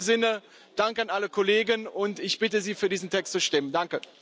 In diesem Sinne Dank an alle Kollegen, und ich bitte Sie, für diesen Text zu stimmen. Danke!